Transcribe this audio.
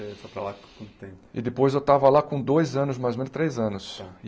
Eh foi para lá com quanto tempo E depois eu estava lá com dois anos, mais ou menos três anos.